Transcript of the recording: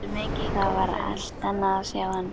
Það var allt annað að sjá hann.